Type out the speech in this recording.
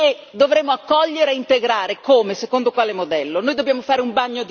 Noi dobbiamo fare un bagno di realtà perché abbiamo tollerato l'intollerabile.